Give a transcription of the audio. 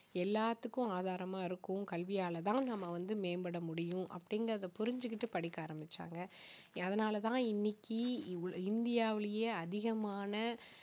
எல்லாத்துக்கும் ஆதாரமா இருக்கும் கல்வியால தான் நம்ம வந்து மேம்பட முடியும் அப்படிங்கறதை புரிஞ்சுகிட்டு படிக்க ஆரம்பிச்சாங்க அதனால தான் இன்னைக்கு இவ்~ இந்தியாவிலேயே அதிகமான